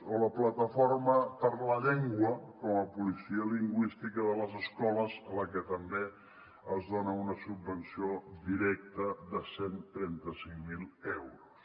o la plataforma per la llengua com a policia lingüística de les escoles a la qual també es dona una subvenció directa de cent i trenta cinc mil euros